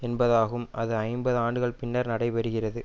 என்பதாகும் அது ஐம்பது ஆண்டுகள் பின்னர் நடைபெறுகிறது